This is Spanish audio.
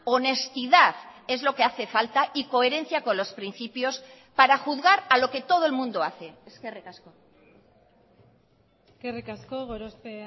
honestidad es lo que hace falta y coherencia con los principios para juzgar a lo que todo el mundo hace eskerrik asko eskerrik asko gorospe